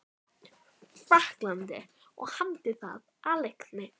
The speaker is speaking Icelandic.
Frakklandi og hamdi það af leikni.